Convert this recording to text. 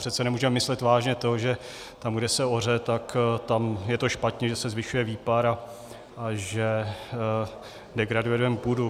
Přece nemůžeme myslet vážně to, že tam, kde se oře, tak tam je to špatně, že se zvyšuje výpar a že degradujeme půdu.